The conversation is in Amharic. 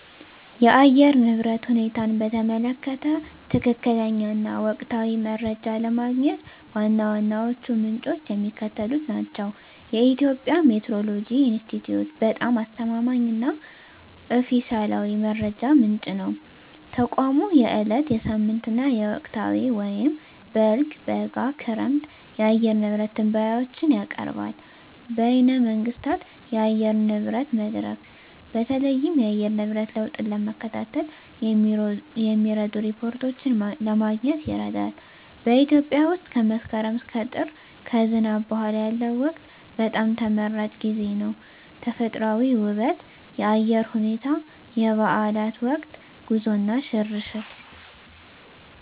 የአየር ንብረት ሁኔታን በተመለከተ ትክክለኛ እና ወቅታዊ መረጃ ለማግኘት ዋና ዋናዎቹ ምንጮች የሚከተሉት ናቸው -የኢትዮጵያ ሜትዎሮሎጂ ኢንስቲትዩት በጣም አስተማማኝ እና ኦፊሴላዊ መረጃ ምንጭ ነው። ተቋሙ የዕለት፣ የሳምንት እና የወቅታዊ (በልግ፣ በጋ፣ ክረምት) የአየር ንብረት ትንበያዎችን ያቀርባል። -በይነ መንግሥታት የአየር ንብረት መድረክ: በተለይም የአየር ንብረት ለውጥን ለመከታተል የሚረዱ ሪፖርቶችን ለማግኘት ይረዳል። -በኢትዮጵያ ውስጥ ከመስከረም እስከ ጥር (ከዝናብ በኋላ ያለው ወቅት) በጣም ተመራጭ ጊዜ ነው። -ተፈጥሮአዊ ውበት -የአየር ሁኔታ -የበዓላት ወቅት -ጉዞ እና ሽርሽር